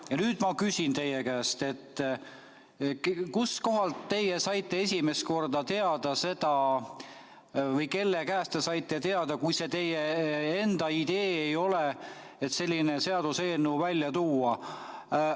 Ja nüüd ma küsin teie käest, kust teie saite esimest korda teada või kelle käest te saite teada, kui see teie enda idee ei ole, et selline seaduseelnõu tuuakse välja.